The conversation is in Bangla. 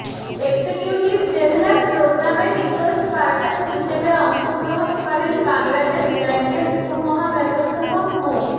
এক্সিকিউটিভ ডেভেলপ প্রগ্রামে রিসোর্স পার্সন হিসেবে অংশগ্রহণ করেন বাংলাদেশ ব্যাংকের উপমহাব্যবস্থাপক মো